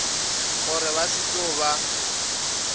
gore ba se tlo ba